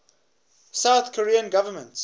south korean government